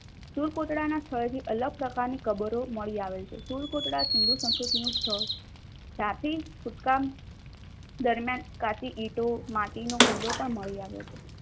સુર કોટડાના સ્થળથી અલગ પ્રકારની કબરો મળી આવે છે. સુર કોટડા સિંધુ સંસ્કૃતિનું સ્થળ છે. દરમિયાન કાચી ઈતો માટીનું કિલ્લો પણ મળી આવ્યો છે.